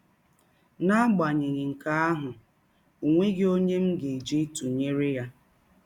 N’agbanyeghị nke ahụ, ọ nweghị ọnye m ga - eji tụnyere ya.